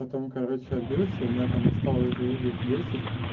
потом короче отбился у меня там осталось живых где-то десять